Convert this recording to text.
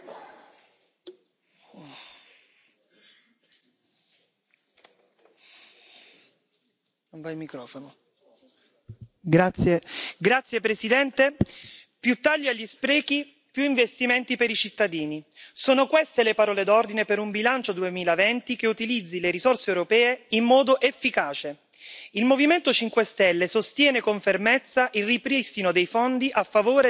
Signora Presidente, onorevoli colleghi, più tagli agli sprechi, più investimenti per i cittadini. Sono queste le parole d'ordine per un bilancio 2020 che utilizzi le risorse europee in modo efficace. Il Movimento 5 Stelle sostiene con fermezza il ripristino dei fondi a favore dei nostri agricoltori,